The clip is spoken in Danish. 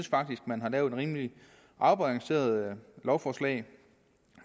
man har lavet et rimelig afbalanceret lovforslag